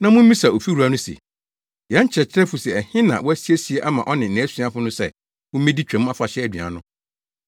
na mummisa ofiwura no se, ‘Yɛn kyerɛkyerɛfo se ɛhe na woasiesie ama ɔne nʼasuafo no sɛ wommedi Twam Afahyɛ aduan no?’